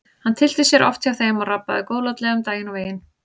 Hann tyllti sér oft hjá þeim og rabbaði góðlátlega um daginn og veginn.